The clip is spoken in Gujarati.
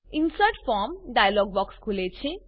ઇન્સર્ટ ફોર્મ ડાયલોગ બોક્સ ખુલે છે